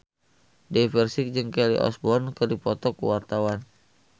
Dewi Persik jeung Kelly Osbourne keur dipoto ku wartawan